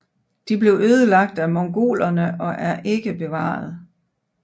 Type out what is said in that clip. De blev ødelagt af mongolerne og er ikke bevarede